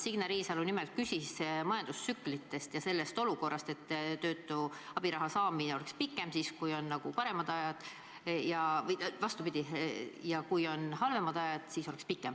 Signe Riisalo nimelt küsis majandustsüklite kohta ja selle kohta, et töötu abiraha saamine toimuks pikemalt, kui on halvemad ajad.